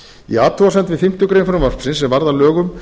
í athugasemd við fimmtu grein frumvarpsins sem varð að lögum